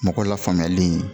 Mɔgɔ lafaamuyali